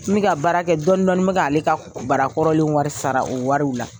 N be ka baara kɛ dɔƆnin dɔɔnin n be ' ale ka barakɔrɔw wari sara o wari la